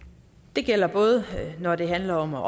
det gælder både når det handler om at